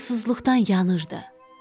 Susuzluqdan yanırdı.